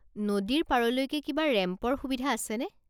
নদীৰ পাৰলৈকে কিবা ৰেম্পৰ সুবিধা আছেনে?